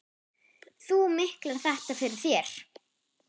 Þú miklar þetta fyrir þér.